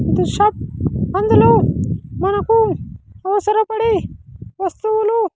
The shop అందులో మనకు అవసరపడే వస్తువులు.